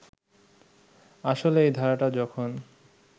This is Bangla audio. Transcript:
আসলে এই ধারাটা যখন